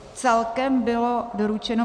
Celkem bylo doručeno